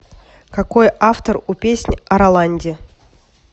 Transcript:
какой автор у песнь о роланде